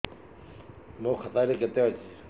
ମୋ ଖାତା ରେ କେତେ ଅଛି